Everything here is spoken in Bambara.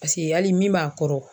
hali min b'a kɔrɔ.